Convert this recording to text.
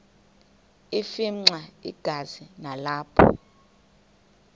afimxa igazi nalapho